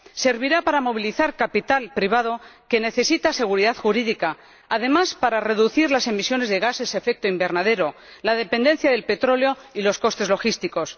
Servirá para movilizar capital privado que necesita seguridad jurídica y, además, para reducir las emisiones de gases de efecto invernadero, la dependencia del petróleo y los costes logísticos.